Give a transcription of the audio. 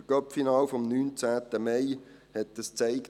Der Cupfinal vom 19. Mai hat es gezeigt.